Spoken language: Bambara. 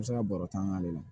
bɛ se ka baro taa an k'ale la